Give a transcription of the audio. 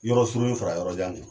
Yɔrɔ surunnin fara yɔrɔjan kɛ.